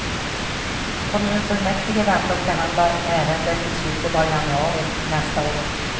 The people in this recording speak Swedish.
Kommunfullmäktige väntas behandla ärendet i slutet av januari nästa år.